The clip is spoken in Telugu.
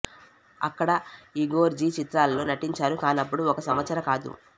అక్కడ ఇగోర్ జి చిత్రాలలో నటించారు కానపుడు ఒక సంవత్సర కాదు